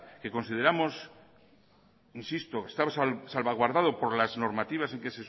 que consideramos insisto está salvaguardado por las normativas en las que